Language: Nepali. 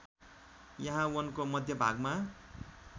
यहा वनको मध्यभागमा